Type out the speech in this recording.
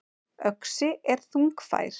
Öxi er þungfær.